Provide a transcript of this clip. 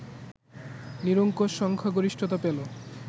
নিরঙ্কুশ সংখ্যাগরিষ্ঠতা পেল